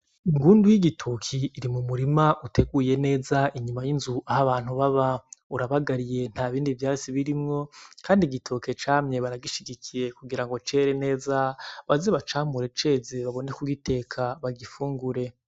Ingundu y'igitoke iri mu murima uteguye neza inyuma y'inzu aho abantu baba urabagariye nta bindi vyatsi bibamwo kandi igitoke camye baragishigikiye kugirango cere neza baze bacamure ceze babone ku giteka ba gifungure.